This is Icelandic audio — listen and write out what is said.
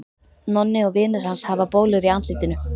Nonni og vinir hans hafa bólur í andlitinu.